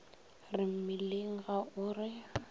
re mmileng ga o re